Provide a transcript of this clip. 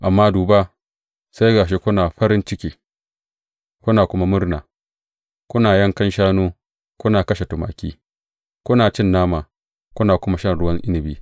Amma duba, sai ga shi kuna farin ciki kuna kuma murna, kuna yankan shanu kuna kashe tumaki, kuna cin nama kuna kuma shan ruwan inabi!